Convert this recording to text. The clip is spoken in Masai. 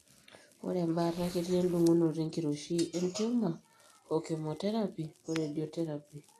Ore embaata ketii endung'unoto enkiroshi entiumor okemoterapi oredioterapi.